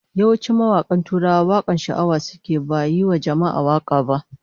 Yawancin mawakan Tuwara wakokin sha'awa suke yi, ba yiwa jama'a waka ba